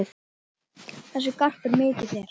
Þessi garpur mikill er.